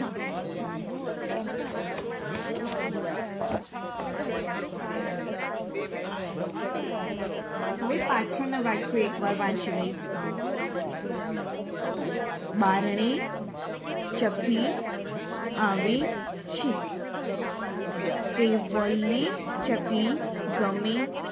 હવે પાછળના વાક્યો એકવાર વાંચી લઈશું બારણે ચકલી આવે છે કેવલને ચકલી ગમે